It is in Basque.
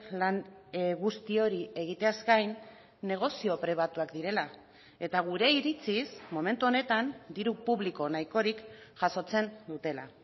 lan guzti hori egiteaz gain negozio pribatuak direla eta gure iritsiz momentu honetan diru publiko nahikorik jasotzen dutela